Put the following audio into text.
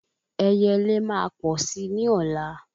Ẹyẹlé máa pọ̀ si ni ọ̀la